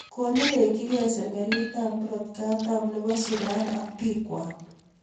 konerechin key sekalitab murot kataam nebo Suran ak bikwak